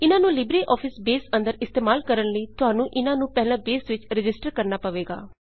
ਇਹਨਾਂ ਨੂੰ LibreOffice Base ਅੰਦਰ ਇਸਤੇਮਾਲ ਕਰਣ ਲਈ ਤੁਹਾਨੂੰ ਇਹਨਾਂ ਨੂੰ ਪਹਿਲਾਂ ਬੇਸ ਵਿੱਚ ਰਜਿਸਟਰ ਕਰਣਾ ਪਏਗਾ